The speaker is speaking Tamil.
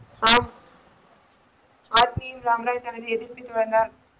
ஹார்டின் சாமுராய் தனது எதிர்ப்பின் வரார்.